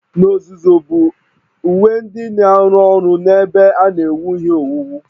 N'ozuzu bụ uwe ndị na-arụ ọrụ n'ebe a na-ewu ihe owuwu